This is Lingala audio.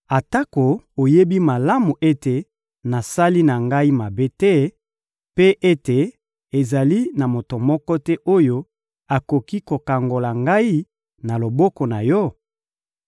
atako oyebi malamu ete nasali na ngai mabe te, mpe ete ezali na moto moko te oyo akoki kokangola ngai na loboko na Yo?